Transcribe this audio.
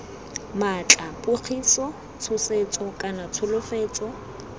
maatla pogiso tshosetso kana tsholofetso